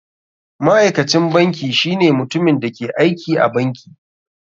Ma'aikacin banki shine mutumin da ke aiki a banki.